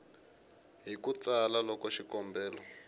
hi ku tsala loko xikombelo